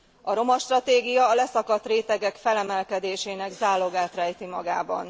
A romastratégia a leszakadt rétegek felemelkedésének zálogát rejti magában.